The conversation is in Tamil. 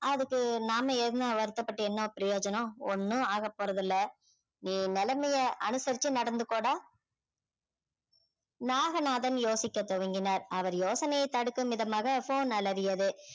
அதுக்கு நாம என்ன வருத்தப்பட்டு என்ன பிரயோஜனம் ஒண்ணும் ஆகப் போறதில்ல நீ நிலைமைய அனுசரிச்சு நடந்துக்கோடா நாகநாதன் யோசிக்க தொடங்கினார் அவர் யோசனையை தடுக்கும் விதமாக phone அலறியது